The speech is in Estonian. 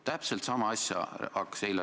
Küllap olete sellest juba üle saanud.